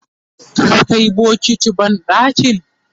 ka Kai bokati banɗaki?